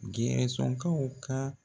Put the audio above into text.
Gɛɛsɔnkaw ka